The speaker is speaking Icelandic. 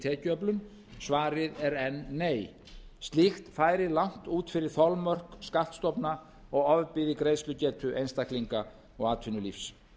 tekjuöflun svarið er enn nei slíkt færi langt út fyrir þolmörk skattstofna og ofbyði greiðslugetu einstaklinga og atvinnulífs